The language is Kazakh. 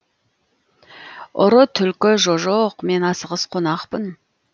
ұры түлкі жо жоқ мен асығыс қонақпын